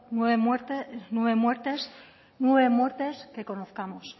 nueve muertes que conozcamos